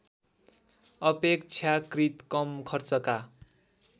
अपेक्षाकृत कम खर्चका